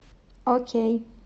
окей